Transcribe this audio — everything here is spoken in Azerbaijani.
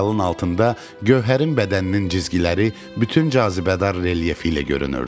Ədyalın altında Gövhərin bədəninin cizgiləri bütün cazibədar relyefi ilə görünürdü.